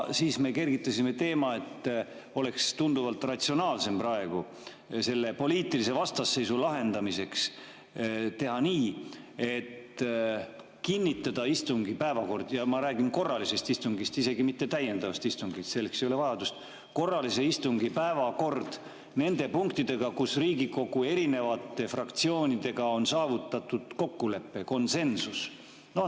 Siis me kergitasime teema, et oleks tunduvalt ratsionaalsem praegu selle poliitilise vastasseisu lahendamiseks teha nii, et kinnitada istungi päevakord – ja ma räägin korralisest istungist, isegi mitte täiendavast istungist, selleks ei ole vajadust – nende punktidega, kus Riigikogu erinevate fraktsioonidega on saavutatud kokkulepe, konsensus.